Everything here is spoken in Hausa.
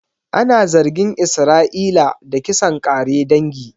Ana zargin Isra'ila da kisan ƙare dangi